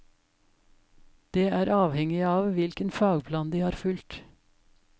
Det er avhengig av hvilken fagplan de har fulgt.